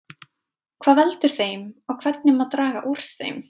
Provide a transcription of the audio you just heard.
hvað veldur þeim og hvernig má draga úr þeim